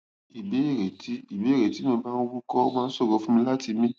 ìbéèrè tí ìbéèrè tí mo bá ń wúkọ ó máa ń ṣòro fún mi láti mi